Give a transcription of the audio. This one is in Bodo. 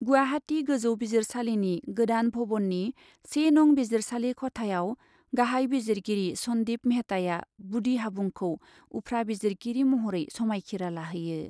गुवाहाटी गोजौ बिजिरसालिनि गोदान भवननि से नं बिजिरसालि खथायाव गाहाइ बिजिरगिरि सन्दिप मेहताआ बुदि हाबुंखौ उफ्रा बिजिरगिरि महरै समायखिरा लाहोयो।